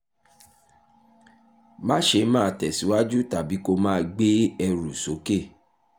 má ṣe máa tẹ̀síwájú tàbí kó o máa gbé ẹrù sókè